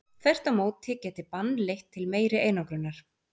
Þvert á móti geti bann leitt til meiri einangrunar.